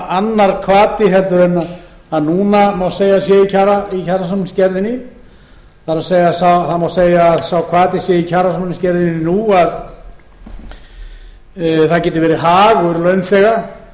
annar hvati en núna má segja að sé í kjarasamningsgerðinni það er að það má segja að sá hvati sé í kjarasamningsgerðinni nú að það geti verið